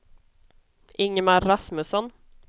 Ingemar Rasmusson